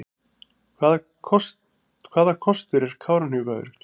Hvaða kostur er Kárahnjúkavirkjun?